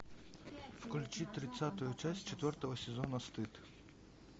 включи тридцатую часть четвертого сезона стыд